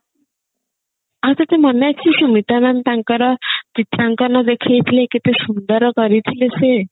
ଆଉ ତତେ ମନେ ଅଛି ସ୍ମିତା ma'am ତାଙ୍କର ଚିତ୍ରାଙ୍କନ ଦେଖେଇଥିଲେ କେତେ ସୁନ୍ଦର କରିଥିଲେ ସେ